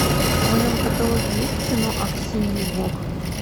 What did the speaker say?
в твоем каталоге есть кино аксиньи гог